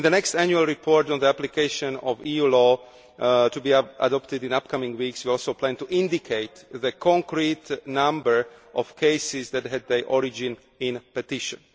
In the next annual report on the application of EU law, which will be adopted in the coming weeks, we also plan to indicate the concrete number of cases which had their origin in petitions.